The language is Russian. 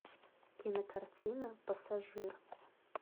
кинокартина пассажир